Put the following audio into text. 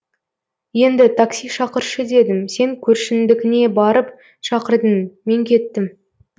енді такси шақыршы дедім сен көршіңдікіне барып шақырдың мен кеттім